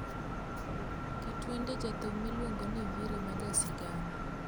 Ket wende jathum miluongo ni Nviiri majasigana